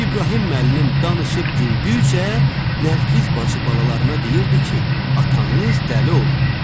İbrahim müəllim danışıb güldükcə, Nərgiz bacı balalarına deyirdi ki, atanız dəli olub.